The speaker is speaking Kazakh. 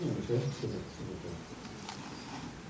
ендеше кезекті сюжетке берейік